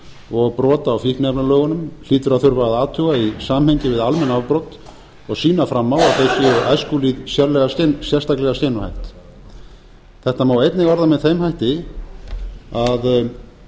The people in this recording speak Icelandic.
og brot á fíkniefnalögunum hlýtur að þurfa að athuga í samhengi við almenn afbrot og sýna fram á að þau séu æskulýðnum sérstaklega skeinuhætt þetta má einnig orða með þeim hætti að